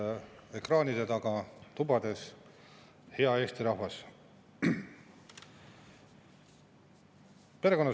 See on Reformierakonna tasu Eesti 200‑le ja sotsiaaldemokraatidele selle eest, et need kaks viimast silmi kinni pigistades toetavad kõiki neid maksutõuse ja peretoetuste kärpimisi.